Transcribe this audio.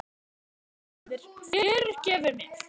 Ég hélt að þú hefðir fyrirgefið mér.